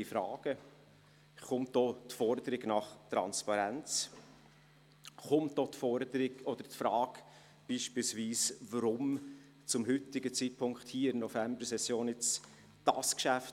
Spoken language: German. Deshalb wird auch die Forderung nach Transparenz gestellt sowie beispielsweise die Forderung oder die Frage, weshalb dieses Geschäft zum heutigen Zeitpunkt in der Novembersession